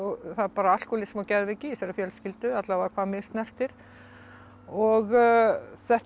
það er alkóhólismi og geðveiki í þessari fjölskyldu alla vega hvað mig snertir og þetta